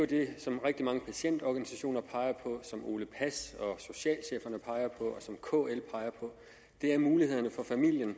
det som rigtig mange patientorganisationer peger på som ole pass og socialcheferne peger på og som kl peger på ved mulighederne for familien